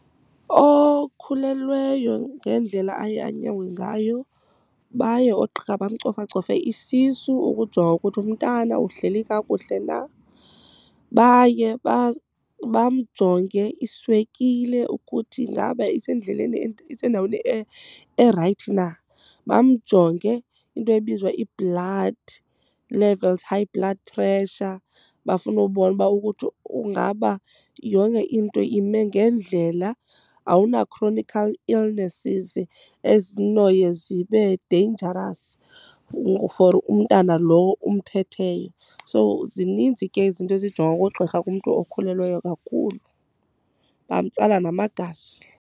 Okhulelweyo ngendlela aye anyangwe ngayo baye oogqirha bamcofa cofe isisu ukujonga ukuthi umntana uhleli kakuhle na. Baye bamjonge iswekile ukuthi ingaba isendleleni isendaweni erayithi na. Bamjonge into ebizwa i-blood levels, high blood pressure. Bafuna ubona uba ukuthi ungaba yonke into ime ngendlela awuna chronic illnesses ezinoye zibe dangerous for umntana lo umphetheyo. So zininzi ke izinto ezijongwa ngugqirha kumntu okhulelweyo kakhulu, bamtsala namagazi.